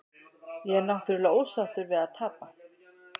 Ég er náttúrulega ósáttur við að tapa.